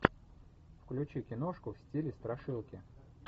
включи киношку в стиле страшилки